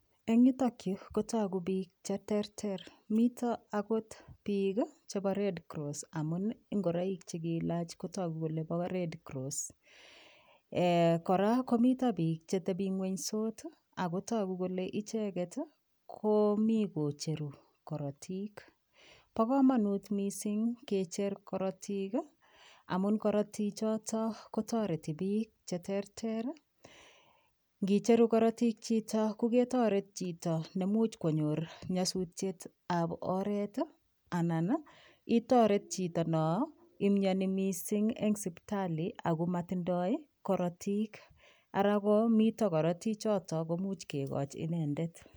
Eng yutokyu kotoku piik cheterter mito akot piik chebo red cross amu ngoroik chekiilach kotoku kole bo red cross kora komito piik chetebingwenysot akotoku kole icheket komi kocheru korotik bo komonut mising kecher korotik amun korotichoto kotoreti piik cheterter ngicheru korotik choto ko ketoret chito nemuch konyor nyasutyet ab oret anan itoret cheto no imyoni mising eng sipitali akomatindoi korotik Ara mito korotichoto komuch kekoch inendet